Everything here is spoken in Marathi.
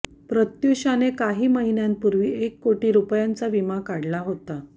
प्रत्युषाने काही महिन्यांपूर्वी एक कोटी रुपयांचा विमा काढला होता